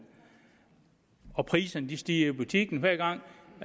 og priserne stiger i butikkerne hver gang